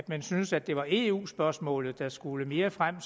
man syntes at det var eu spørgsmålet der skulle mere frem